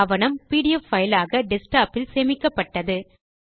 ஆவணம் PDF file ஆக desktop இல் சேமிக்கப்பட்டது